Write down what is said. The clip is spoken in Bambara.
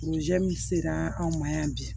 sera anw ma yan bi